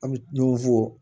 An bɛ ɲɔgɔn fɔ